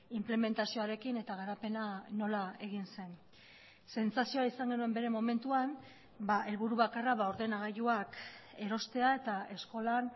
inplementazioarekin eta garapena nola egin zen sentsazioa izan genuen bere momentuan helburu bakarra ordenagailuak erostea eta eskolan